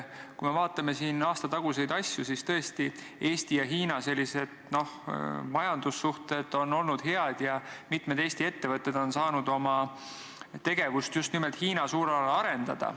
Kui me vaatame aastataguseid asju, siis tõesti, Eesti ja Hiina majandussuhted on olnud head ja mitmed Eesti ettevõtted on saanud oma tegevust just nimelt Hiina suunal arendada.